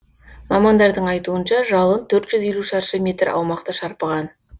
мамандардың айтуынша жалын төрт жүз елу шаршы метр аумақты шарпыған